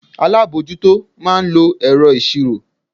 Alábojútó máa ń lo ẹ̀rọ ìṣirò.